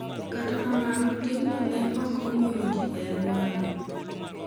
Kata kamano, timno ne ok mor ji e alworano.